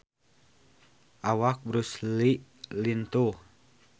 Awak Bruce Lee lintuh